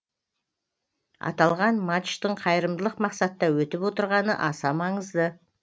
аталған матчтың қайырымдылық мақсатта өтіп отырғаны аса маңызды